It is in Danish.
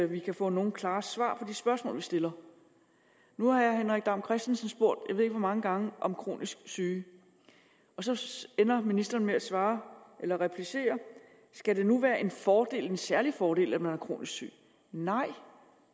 vi kan få nogen klare svar på de spørgsmål vi stiller nu har herre henrik dam kristensen spurgt jeg ved ikke hvor mange gange om kronisk syge og så ender ministeren med at svare eller replicere skal det nu være en fordel en særlig fordel at man er kronisk syg nej